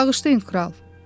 “Bağışlayın kral.